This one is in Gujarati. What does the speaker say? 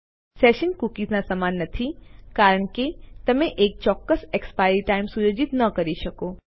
તેથી સેશન્સ કૂકીઝના સમાન નથી કારણ કે તમે એક ચોક્કસ એક્સપાયરી ટાઇમ સુયોજિત ન કરી શકો